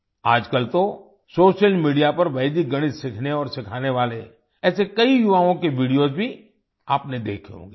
आजकल तो social media पर वैदिक गणित सीखने और सिखाने वाले ऐसे कई युवाओं के वीडियोस भी आपने देखे होंगे